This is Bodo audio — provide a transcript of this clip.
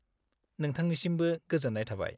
-नोंथांनिसिमबो गोजोन्नाय थाबाय।